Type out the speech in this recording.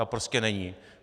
Ta prostě není.